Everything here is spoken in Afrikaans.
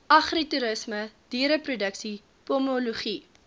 agritoerisme diereproduksie pomologie